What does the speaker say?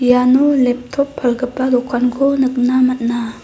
iano leptop palgipa dokanko nikna man·a.